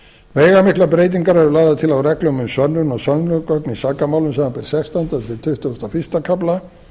veigamiklar breytingar eru lagðar til á reglum um sönnun og sönnunargögn í sakamálum samanber sextándu til tuttugasta og fyrsta kafla